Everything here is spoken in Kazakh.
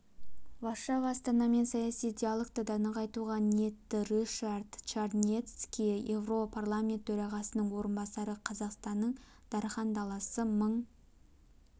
варшава астанамен саяси диалогты да нығайтуға ниетті рышард чарнецкий еуропарламент төрағасының орынбасары қазақтың даріан даласы мың